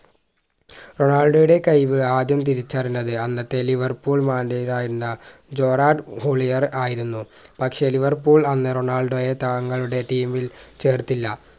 റൊണാൾഡോയുടെ കഴിവ് ആദ്യം തിരിച്ചറിഞ്ഞത് അന്നത്തെ ലിവര്‍പൂൾ Manager ആയിരുന്ന ജോറാൾഡ് ഹോളിയെർ ആയിരുന്നു പക്ഷേ ലിവർപൂൾ അന്ന് റൊണാൾഡോയെ താങ്ങളുടെ ടീമിൽ ചേർത്തില്ല